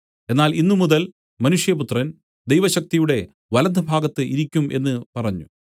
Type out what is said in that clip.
എന്നാൽ ഇന്നുമുതൽ മനുഷ്യപുത്രൻ ദൈവശക്തിയുടെ വലത്തുഭാഗത്ത് ഇരിക്കും എന്നു പറഞ്ഞു